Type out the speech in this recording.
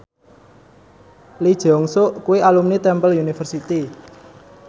Lee Jeong Suk kuwi alumni Temple University